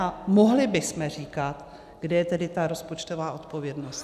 A mohli bychom říkat, kde je tedy ta rozpočtová odpovědnost.